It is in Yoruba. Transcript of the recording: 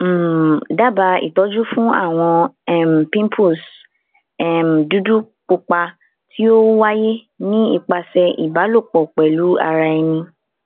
um daba itọju fun awọn um pimples um dudu pupa ti o waye nipasẹ iba lopo pelu ara eni